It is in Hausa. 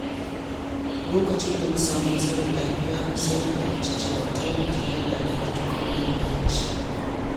Lokacin da na sami matsalar lafiya, sai na fahimci cewa tanadi yana da matuƙar muhimmanci.